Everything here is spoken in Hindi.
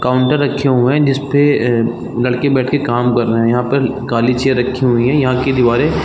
काउंटर रखे हुए है जिसपे लड़के बैठ के काम कर रहे है यहाँ पर काली चेयर रखी हुई है यहाँ के दीवारे --